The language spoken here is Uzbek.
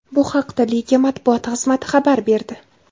Bu haqda liga matbuot xizmati xabar berdi .